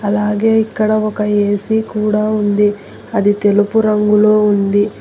అలాగే ఇక్కడ ఒక ఏసీ కూడా ఉంది అది తెలుపు రంగులో ఉంది.